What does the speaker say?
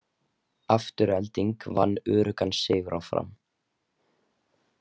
Afturelding vann öruggan sigur á Fram